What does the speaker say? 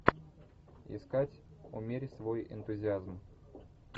искать умерь свой энтузиазм